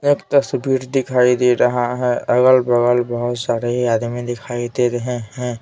एक तस्वीर दिखाई दे रहा है अगल-बगल बहुत सारे आदमी दिखाई दे रहे हैं।